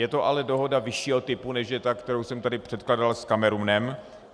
Je to ale dohoda vyššího typu, než je ta, kterou jsem tady předkládal s Kamerunem.